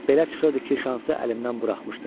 Belə çıxırdı ki, şansı əlimdən buraxmışdım.